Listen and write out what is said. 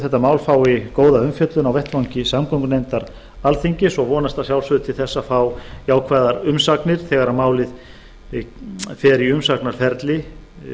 þetta mál fái góða umfjöllun á vettvangi samgöngunefndar alþingis og vonast að sjálfsögðu til þess að fá jákvæðar umsagnir þegar málið fer í umsagnarferli